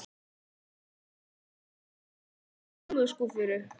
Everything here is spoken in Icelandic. Hún tók föt af dívaninum og setti ofan í kommóðuskúffu.